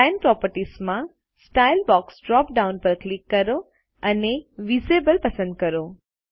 line properties માં style box drop down પર click કરો અને ઇન્વિઝિબલ પસંદ કરો